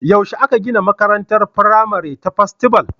Yaushe aka gina makarantar firamare ta Festival?